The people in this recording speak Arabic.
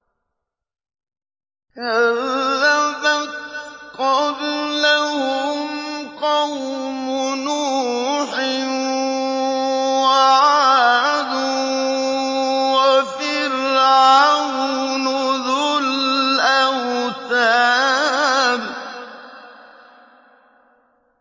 كَذَّبَتْ قَبْلَهُمْ قَوْمُ نُوحٍ وَعَادٌ وَفِرْعَوْنُ ذُو الْأَوْتَادِ